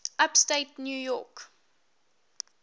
upstate new york